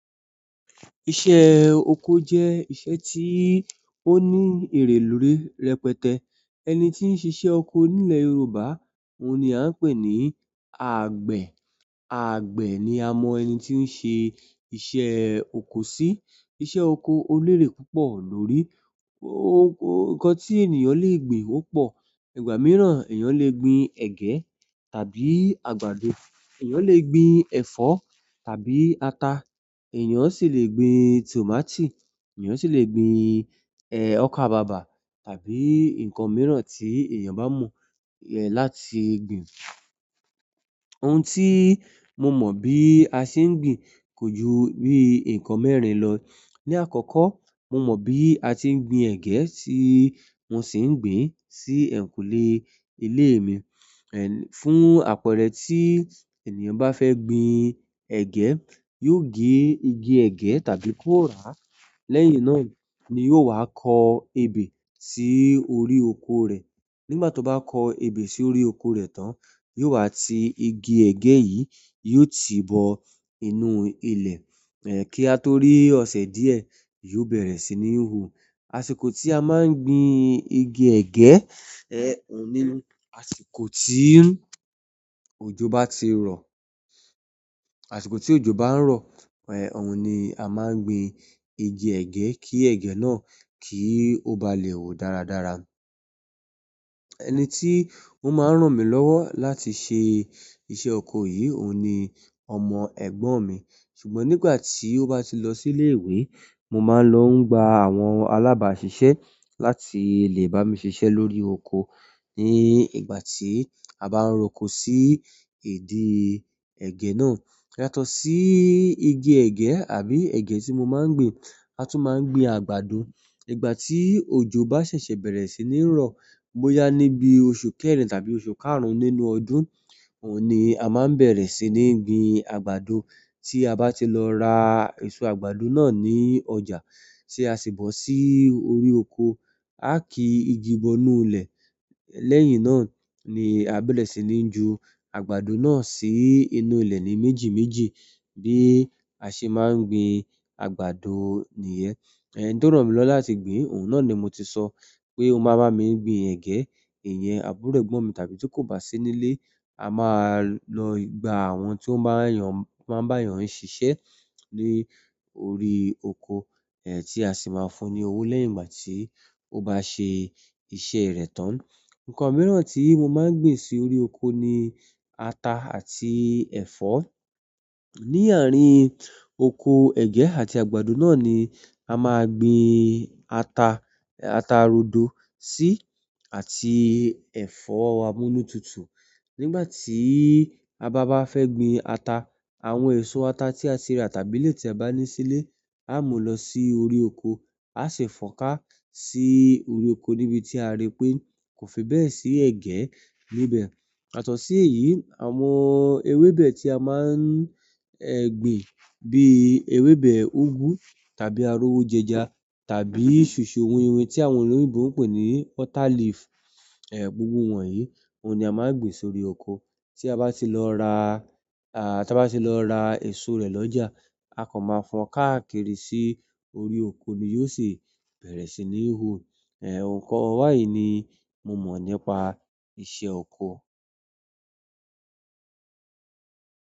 Iṣẹ́ oko jẹ́ iṣẹ́ tí ó ní èrè lórí rẹpẹtẹ. Ẹni tí ń ṣe iṣẹ́ oko nílẹ̀ Yorùbá, òun ni a ń pè ní àgbẹ̀. Àgbẹ̀ ni a mọ ẹni tí ó ń ṣe iṣẹ́ oko sí. Iṣẹ́ oko o lérè púpọ̀ lórí. Nǹkan tí ènìyàn le gbin ó pọ̀. Ìgbà mìíràn, ènìyàn le gbin ẹ̀gẹ́ tàbí àgbàdo, ènìyàn le gbin ẹ̀fọ́ tàbí ata, ènìyàn sì le gbin tòmátì, ènìyàn sì le gbin, eh, ọkàbàbà tàbí nǹkan mìíràn tí ènìyàn bá mọ, ẹ́, láti gbin. Ohun tí mo mọ̀ bí a ṣe ń gbin kò ju bí nǹkan mẹ́rin lọ. Ni àkọ́kọ́, mo mọ̀ bí a ti ń gbin ẹ̀gẹ́ tí mo sì ń gbin sí ẹ̀yìnkùlé ilé mi. Ẹ̀, fún àpẹẹrẹ tí ènìyàn bá fẹ́ gbin ẹ̀gẹ́, yóò gé igi ẹ̀gẹ́ tàbí kó rà á. Lẹ́yìn náà ni yóò wá kọ ebè sí orí oko rẹ̀. Nígbà tó bá kọ ebè sí orí oko rẹ̀ tán, yóò wá ti igi ẹ̀gẹ́ yìí, yóò ti bọ inú ilẹ̀. Ki a to ri ọsẹ diẹ yo bẹrẹ sini hu. Àṣìkò tí a máa ń gbin igi ẹ̀gẹ́, ẹ́, òun ni àṣìkò tí òjò bá ti rọ̀. Àṣìkò tí òjò bá ń rọ̀, ẹ́, òun ni a máa ń gbin igi ẹ̀gẹ́ kí ẹ̀gẹ́ náà kí ó ba lè wù dáradára. Ẹni tí ó máa ń ràn mí lọ́wọ́ láti ṣe iṣẹ́ oko yìí òun ni ọmọ ẹ̀gbọ́n mi. Ṣùgbọ́n nígbà tí ó bá ti lọ sí ilé ìwé, mo máa ń lọ gba àwọn alábàáṣiṣẹ́ láti lè bá mi ṣiṣẹ́ lórí oko. Ní ìgbà tí a bá ń rọko sí ìdí ẹ̀gẹ́ náà. Yàtọ̀ si igi ẹgẹ àbí ẹgẹ ti mo maa n gbin, a tun maa n gbi àgbàdo. Ìgbà tí òjò bá ṣẹ̀ṣẹ̀ bẹ̀rẹ̀ sí ní ń rọ̀, bóyá níbi oṣù kẹrin tàbí oṣù karùn-ún nínú ọdún, òun ni a máa ń bẹ̀rẹ̀ sí ní gbin àgbàdo. Tí a bá ti lọ ra èso àgbàdo náà ní ọjà tí a sì bọ́ sí orí oko, a kí igi bọ́ inú ilẹ̀. Lẹ́yìn náà ni a bẹ̀rẹ̀ sí ní ju àgbàdo náà sí inú ilẹ̀ ní méjì méjì bí a ṣe máa ń gbin àgbàdo nìyẹn. Ẹni tó ràn mí lọ́wọ́ láti gbin, òun náà ni mo ti sọ pé ó máa bá mi gbin ẹ̀gẹ́, ìyẹn àbúrò ẹ̀gbọ́n mi. Tàbí ti ko basi nile, a maa n lọ gba àwọn to maa n ba eeyan sisẹ ni orí oko ti a si maa fún ni owo lẹ́yìn ìgbà ti o baa se iṣẹ́ rẹ̀ tán. Nǹkan mìíràn tí mo máa ń gbin sí orí oko ni ata àti ẹ̀fọ́. Ni àárín oko ẹ̀gẹ́ àti àgbàdo náà ni a máa gbin ata, ata rodo sí àti ẹ̀fọ́ amúnútutù. Nígbà tí a bá ba fẹ́ gbin ata, àwọn èso ata tí a ti rà tàbí ilé tí a bá ní sílé, a mú lọ sí orí oko, a sì fọ́ńká sí orí oko níbi tí a rí pé kò fi bẹ́ẹ̀ sí ẹ̀gẹ́ níbẹ̀. Yàtọ̀ sí èyí, àwọn ewébẹ̀ tí a máa ń, ẹ́, gbin bí ewébẹ̀ úgú tàbí arówójẹja tàbí soso winwìn tí àwọn olóyinbò ń pè ní water leaf. Ẹ̀, gbogbo wọ̀nyí, òun ni a máa ń gbin sórí oko. Tí a bá ti lọ ra, à, tí a bá ti lọ ra èso rẹ̀ lọ́jà, a kan máa fọ́n káàkiri sí orí oko ni yóò sì bẹ̀rẹ̀ sí ní hù. Ẹ̀, nǹkan wá yìí ni mo mọ̀ nípa iṣẹ́ oko.